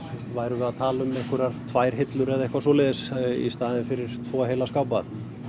værum við að tala um einhverjar tvær hillur eða eitthvað svoleiðis í staðinn fyrir tvo heila skápa